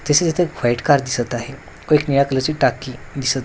तसेच इथे एक व्हाईट कार दिसत आहे व एक निळ्या कलरची टाकी दिसत --